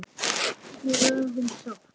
Verð ég orðin sátt?